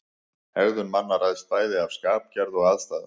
Hegðun manna ræðst bæði af skapgerð og aðstæðum.